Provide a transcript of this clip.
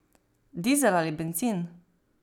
Dizel ali bencin?